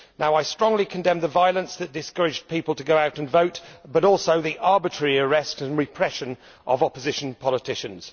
I strongly condemn the violence that discouraged people to go out and vote, as well as the arbitrary arrest and repression of opposition politicians.